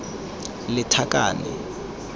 lethakane